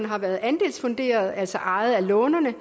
har været andelsfunderet altså ejet af lånerne